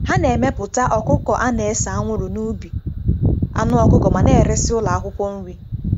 Ha na-emepụta ọkụkọ a na-ese anwụrụ n'ubi anụ ọkụkọ ma na-eresị ụlọ akwụkwọ nri.